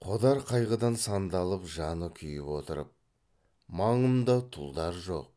қодар қайғыдан сандалып жаны күйіп отырып маңымда тұлдар жоқ